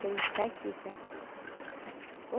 Que ele está aqui, sabe?